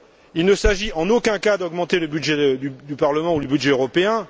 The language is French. Il ne s'agit en aucun cas d'augmenter le budget du Parlement ou le budget européen.